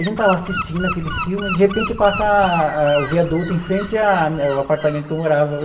A gente está lá assistindo aquele filme, de repente passa ah o viaduto em frente a o apartamento que eu morava.